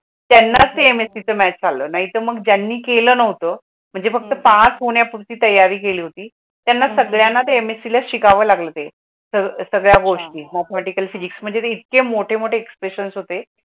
त्यानंच ते MSC च मायट्स आल, नाहीतर मग ज्यांनी केलं नव्हतं म्हणजे फक्त पास होण्यापूर्वी तयारी केली होती, त्यांना सगळ्यांना ते MSC ला शिकावं लागलं ते तर सगळ्या गोष्टी mathematical physics मंजे ते इत्ते मोटे मोटे